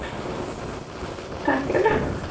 তাকেতো